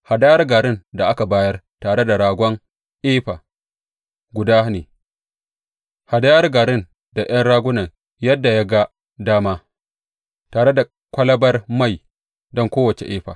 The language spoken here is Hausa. Hadayar garin da aka bayar tare da ragon efa guda ne, hadayar garin da ’yan ragunan yadda ya ga dama, tare da kwalabar mai don kowace efa.